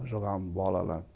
Nós jogávamos bola lá.